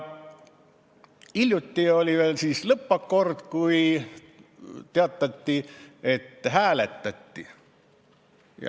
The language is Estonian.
Hiljuti oli veel lõppakord, kui teatati, et hääletati.